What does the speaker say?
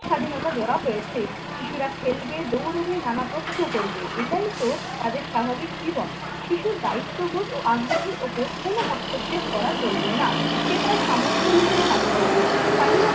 স্বাধীনতা দেওয়া হয়েছে। শিশুরা খেলবে, দৌড়বে নানা প্রশ্ন করবে এটাই তো তাদের স্বাভাবিক জীবন। শিশুর দায়িত্ববোধ ও আগ্রহের ওপর কোন হস্তক্ষেপ করা চলবে না। সে তার সামর্থ্য অনুযায়ী কাজ করবে। স্বাধীনতা